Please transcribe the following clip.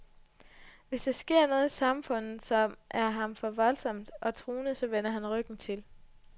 Hvis der sker noget i samfundet, som er ham for voldsomt og truende, så vender han ryggen til.